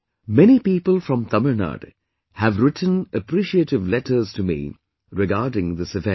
Many people from Tamil Nadu have written appreciative letters to me regarding this event